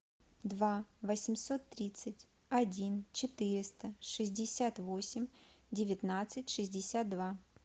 два восемьсот тридцать один четыреста шестьдесят восемь девятнадцать шестьдесят два